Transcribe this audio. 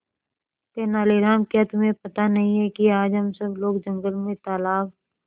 तेनालीराम क्या तुम्हें पता नहीं है कि आज हम सब लोग जंगल में तालाब